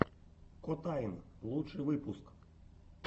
котайн лучший выпуск